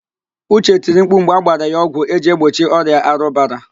Uche tiri mkpu mgbe agbara ya ọgwụ eji egbochi ọrịa arụbara